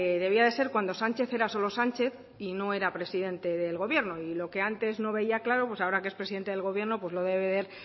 debía ser cuando sánchez era solo sánchez y no era presidente del gobierno y lo que antes no veía claro pues ahora que es presidente del gobierno lo debe de ver